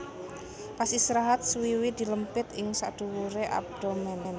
Pas istirahat swiwi dilempit ing sakduwuré abdomen